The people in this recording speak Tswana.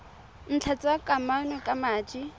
ntlha tsa kamano ka madi